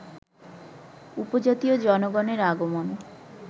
উপজাতীয় জনগণের আগমন